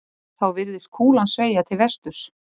Þá virðist kúlan sveigja til vesturs.